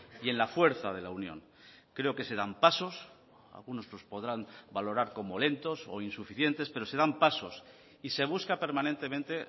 y en la fuerza de la unión creo que se dan pasos algunos los podrán valorar como lentos o insuficientes pero se dan pasos y se busca permanentemente